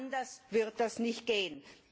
Anders wird das nicht gehen.